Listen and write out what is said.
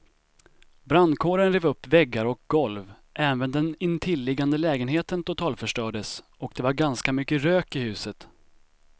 Brandkåren rev upp väggar och golv, även den intilliggande lägenheten totalförstördes och det var ganska mycket rök i huset.